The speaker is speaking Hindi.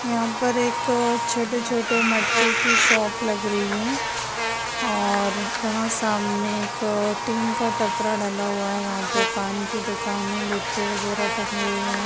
यहाँ पर एक अ छोटे-छोटे मटके की शॉप लग रही है और वहाँ सामने एक अ टीन का टपरा डला हुआ है वहाँ पे पान की दुकान है गुटखे वगैरा टंगे हुए हैं।